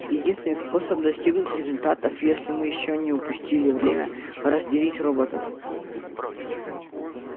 единственный способ достигнуть результатов если мы ещё не упустили время разделить роботов